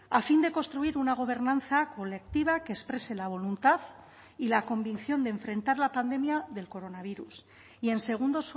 a fin de construir una gobernanza colectiva que exprese la voluntad y la convicción de enfrentar la pandemia del coronavirus y en segundo